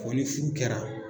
Ko ni furu kɛra.